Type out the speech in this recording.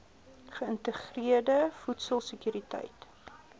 geïntegreerde voedsel sekuriteit